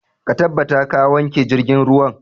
Ka tabbata ka wanke jirgin ruwan!